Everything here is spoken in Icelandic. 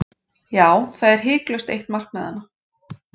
Já, það er hiklaust eitt markmiðanna.